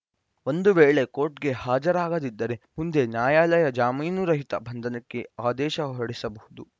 ಒಂದು ವೇಳೆ ಕೋರ್ಟ್‌ಗೆ ಹಾಜರಾಗದಿದ್ದರೆ ಮುಂದೆ ನ್ಯಾಯಾಲಯ ಜಾಮೀನುರಹಿತ ಬಂಧನಕ್ಕೆ ಆದೇಶ ಹೊರಡಿಸಬಹುದು